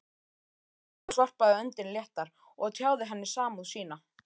Thomas varpaði öndinni léttar og tjáði henni samúð sína.